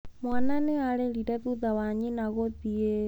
Mwaana nĩ aarĩrire thutha wa nyina gũthiĩ.